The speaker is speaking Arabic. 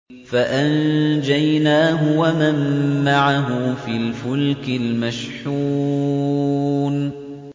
فَأَنجَيْنَاهُ وَمَن مَّعَهُ فِي الْفُلْكِ الْمَشْحُونِ